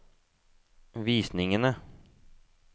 visningene